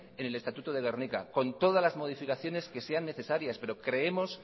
en el estatuto de gernika con todas las modificaciones que sean necesarias pero creemos